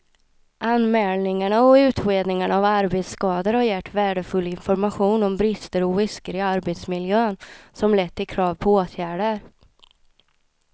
Anmälningarna och utredningarna av arbetsskador har gett värdefull information om brister och risker i arbetsmiljön som lett till krav på åtgärder.